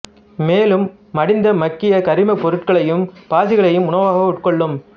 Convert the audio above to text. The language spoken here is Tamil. மேலும் மடிந்த மக்கிய கரிமப் பொருட்களையும் பாசிகளையும் உணவாக உட்கொள்ளும்